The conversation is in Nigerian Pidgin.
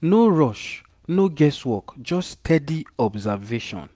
no rush no guess work just steady observation